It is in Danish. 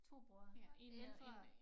2 brødre ældre